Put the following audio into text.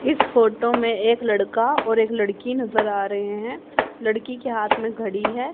इस फोटो में एक लड़का और एक लड़की नजर आ रहे हैं लड़की के हाथ में घड़ी है।